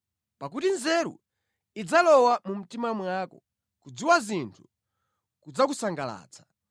Pakuti nzeru idzalowa mu mtima mwako, kudziwa zinthu kudzakusangalatsa.